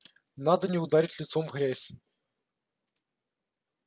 надо не ударить лицом в грязь